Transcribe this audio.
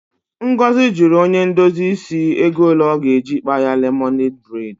Ngozi jụrụ onye ndozi isi ego ole ọ ga-eji kpaa ya lemonadị bredi.